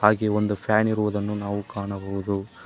ಹಾಗೆ ಒಂದು ಫ್ಯಾನ್ ಇರುವುದನ್ನು ನಾವು ಕಾಣಬಹುದು.